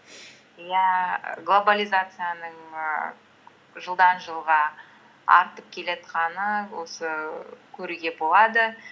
иә глобализацияның ііі жылдан жылға артып осы көруге болады